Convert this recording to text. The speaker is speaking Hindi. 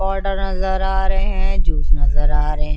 पोडर नज़र आरहे है जूस नज़र आरहे है।